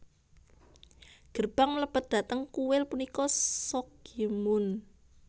Gerbang mlebet dhateng kuil punika Sokgyemun